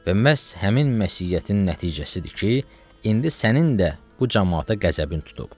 Və məhz həmin məsiyyətin nəticəsidir ki, indi sənin də bu camaata qəzəbin tutub.